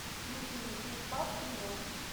включи мне пиф паф ты мертв